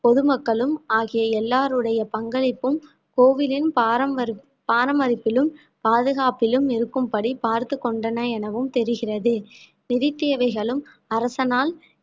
பொதுமக்களும் ஆகிய எல்லாருடைய பங்களிப்பும் கோவிலின் பராமரிப்~ பராமரிப்பிலும் பாதுகாப்பிலும் இருக்கும்படி பார்த்துக் கொண்டன எனவும் தெரிகிறது நிதித்தேவைகளும் அரசனால்